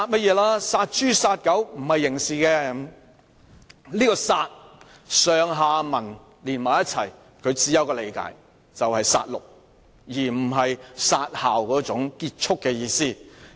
"根據上文下理，他口中的"殺"字只可以理解為"殺戮"，並非"殺校"中"結束"的意思。